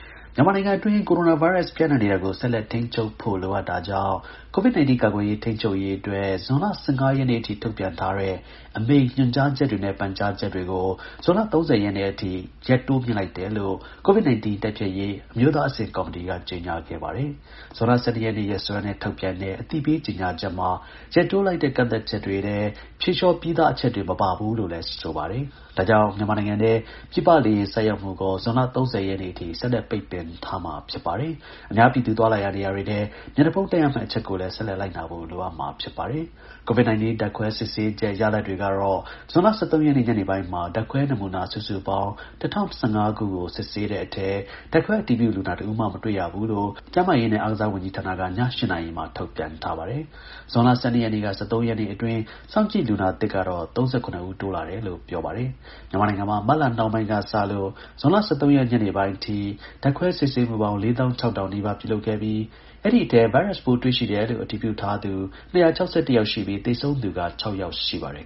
မြန်မာနိုင်ငံအတွင်း ကိုရိုနာဗိုင်းရပ်စ် ပျံ့နှံ့တာကို ဆက်လက်ထိန်းချုပ်ဖို့ လိုအပ်တာကြောင့် COVID-19 ကာကွယ်ရေး ထိန်းချုပ်ရေးအတွက် ဇွန်လ ၁၅ ရက်နေ့အထိ ထုတ်ပြန်ထားတဲ့ အမိန့်၊ ညွှန်ကြားချက်တွေနဲ့ ပန်ကြားချက်တွေကို ဇွန်လ ၃၀ ရက်နေ့အထိ တိုးမြှင့်လိုက်တယ်လို့ COVID-19 တိုက်ဖျက်ရေး အမျိုးသားအဆင့် ကော်မတီက ကြေညာခဲ့ပါတယ်။ ဇွန်လ ၁၂ ရက်နေ့ ရက်စွဲနဲ့ ထုတ်ပြန်တဲ့ အသိပေး ကြေညာချက်မှာ ရက်တိုးလိုက်တဲ့ ကန့်သတ်ချက်တွေထဲ ဖြေလျှော့ပေးပြီးသား အချက်တွေ မပါဘူးလို့လည်း ဆိုပါတယ်။ ဒါကြောင့် မြန်မာနိုင်ငံထဲ ပြည်ပလေယာဉ် ဆိုက်ရောက်မှုကို ဇွန်လ ၃၀ ရက်နေ့အထိ ဆက်လက်ပိတ်ပင်ထားမှာ ဖြစ်ပါတယ်။ အများပြည်သူ သွားလာရာ နေရာတွေထဲ မျက်နှာဖုံးတပ်ရမယ့် အချက်ကိုလည်း ဆက်လက်လိုက်နာဖို့ လိုအပ်မှာ ဖြစ်ပါတယ်။ COVID-19 ဓာတ်ခွဲစစ်ဆေးချက် ရလဒ်တွေကတော့ ဇွန်လ ၁၃ ရက် ညနေပိုင်းမှာ ဓာတ်ခွဲနမူနာ စုစုပေါင်း ၁,၀၁၅ ခုကို စစ်ဆေးတဲ့အထဲ ဓာတ်ခွဲအတည်ပြုလူနာ တဦးမှ မတွေ့ရဘူးလို့ ကျန်းမာရေးနဲ့ အားကစားဝန်ကြီးဌာနက ည ၈ နာရီမှာ ထုတ်ပြန်ထားပါတယ်။ ဇွန်လ ၁၂ ရက်နေ့က ၁၃ ရက်နေ့အတွင်း စောင့်ကြည့်လူနာသစ်ကတော့ ၃၇ ဦး တိုးလာတယ်လို့ ကျန်းမာရေးဝန်ကြီးဌာနက ပြောပါတယ်။ မြန်မာနိုင်ငံမှာ မတ်လနှောင်းပိုင်းက စလို့ ဇွန်လ ၁၃ ရက် ညနေပိုင်းအထိ ဓာတ်ခွဲစစ်ဆေးမှုပေါင်း ၄၆,၀၀၀ နီးပါး ပြုလုပ်ခဲ့ပြီး အဲဒီအထဲ ဗိုင်းရပ်စ်ပိုး တွေ့ရှိတယ်လို့ အတည်ပြုထားသူ ၂၆၁ ယောက်ရှိပြီး သေဆုံးသူက ၆ ယောက် ရှိပါတယ်